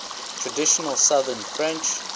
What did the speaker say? traditional southern french